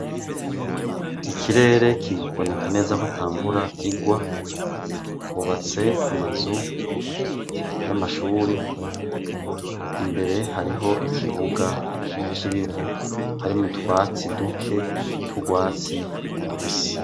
Ikirere kiboneka neza ko atamvura igwa hubatse amazu y'amashuri imbere hariho ikibuga c'ibivu hari mutwatsi duke turwatsi rubisi.